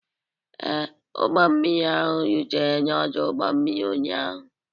Ee, ụgbọ mmiri ahụ rutere n'ọdụ ụgbọ mmiri ụnyaahụ.